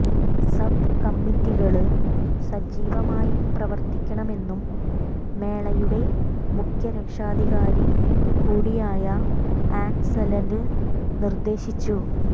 sub കമ്മിറ്റികള് സജീവമായി പ്രവര്ത്തിക്കണമെന്നും മേളയുടെ മുഖ്യരക്ഷാധികാരി കൂടിയായ ആന്സലന് നിര്ദേശിച്ചു